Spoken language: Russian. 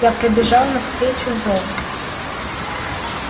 я прибежал навстречу зову